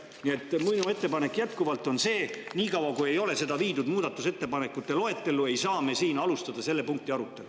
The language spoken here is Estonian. Nii et minu ettepanek jätkuvalt on see: niikaua kui ei ole seda viidud muudatusettepanekute loetellu, ei saa me siin alustada selle punkti arutelu.